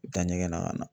U bɛ taa ɲɛgɛn na ka na